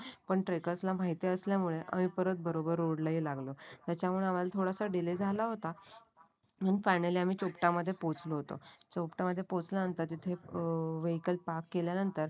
पण ट्रेकरस ला माहीती असल्यामुळे आम्ही बरोबर रोडला ही लागलो. त्याच्यामुळे आम्हाला थोडा डीले झाला होता. मग फायनली आम्ही चोपटा मध्ये पोहोचलो होतो. चोपटा मध्ये पोचल्यानंतर तिथे अं वेहिकल पार्क केल्यानंतर